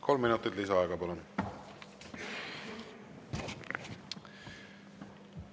Kolm minutit lisaaega, palun!